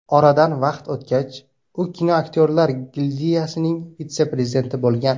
Oradan vaqt o‘tgach, u kinoaktyorlar gildiyasining vitse-prezidenti bo‘lgan.